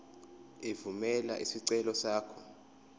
evumela isicelo sakho